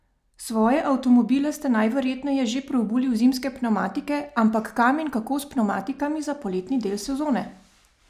Svoje avtomobile ste najverjetneje že preobuli v zimske pnevmatike, ampak kam in kako s pnevmatikami za poletni del sezone?